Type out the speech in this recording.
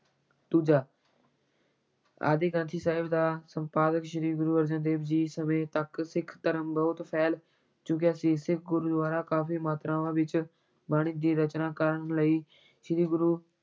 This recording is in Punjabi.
ਦੂਜਾ ਆਦਿ ਗ੍ਰੰਥ ਸਾਹਿਬ ਦਾ ਸੰਪਾਦਨ ਸ੍ਰੀ ਗੁਰੂ ਅਰਜਨ ਦੇਵ ਜੀ ਸਮੇਂ ਤੱਕ ਸਿੱਖ ਧਰਮ ਬਹੁਤ ਫੈਲ ਚੁੱਕਿਆ ਸੀ, ਸਿੱਖ ਗੁਰੂਆਂ ਨੇ ਕਾਫੀ ਮਾਤਰਾਵਾਂ ਵਿੱਚ ਬਾਣੀ ਦੀ ਰਚਨਾ ਕਰ ਲਈ, ਸ੍ਰੀ ਗੁਰੂ